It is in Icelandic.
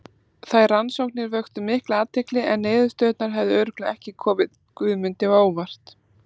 Þær rannsóknir vöktu mikla athygli en niðurstöðurnar hefðu örugglega ekki komið Guðmundi á óvart.